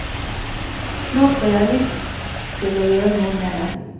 Nå får jeg får lyst til å gjøre noe med det.